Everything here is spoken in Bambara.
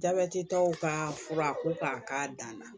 Jabɛti tɔw ka fura ko k'a k'a dan na